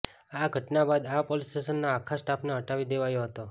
આ ઘટના બાદ આ પોલીસ સ્ટેશનના આખા સ્ટાફને હટાવી દેવાયો હતો